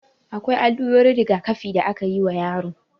Akwai allurorin rigakafi da akeyi wa yaro